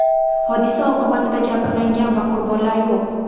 Hodisa oqibatida jabrlangan va qurbonlar yo‘q.